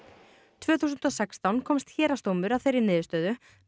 tvö þúsund og sextán komst héraðsdómur að þeirri niðurstöðu með